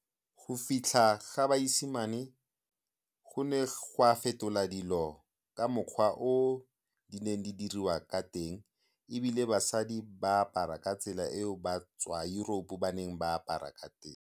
Go fitlha ga baesimane go ne ga fetola dilo ka mokgwa o di neng di diriwa ka teng, ebile basadi ba apara ka tsela eo batswa Europe ba neng ba apara ka teng.